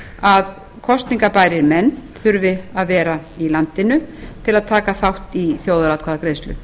að kosningarbærir menn þurfi að vera í landinu til að taka þátt í þjóðaratkvæðagreiðslu